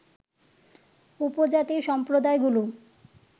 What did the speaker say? উপজাতি সম্প্রদায়গুলো